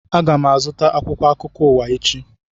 Aga m azụta akwụkwọ akụkọ ụwa echi